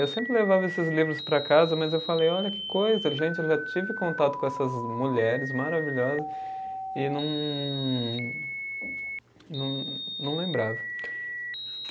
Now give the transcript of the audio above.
Eu sempre levava esses livros para casa, mas eu falei, olha que coisa, gente, eu já tive contato com essas mulheres maravilhosas e não, não, não lembrava.